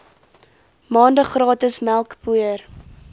maande gratis melkpoeier